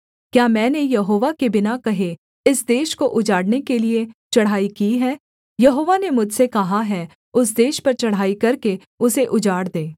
क्या मैंने यहोवा के बिना कहे इस देश को उजाड़ने के लिये चढ़ाई की है यहोवा ने मुझसे कहा है उस देश पर चढ़ाई करके उसे उजाड़ दे